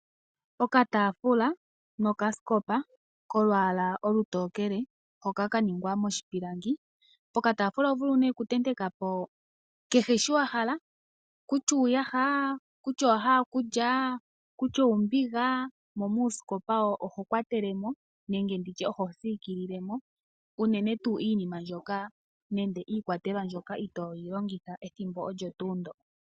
Okataafula nokasikopa kolwaala olutokele, hoka ka ningwa moshipilangi. Pokataafula oho vulu okutenteka po kehe shi wa hala, kutya uuyaha, kutya owa hala okulya nosho wo oombiga. Mo muusikopa oho kwatele mo nenge ho siikilile mo iikwatelwa mbyoka itoo longitha ethimbo olyo tuu ndyoka.